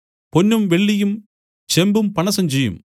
പൊന്നും വെള്ളിയും ചെമ്പും പണസഞ്ചിയും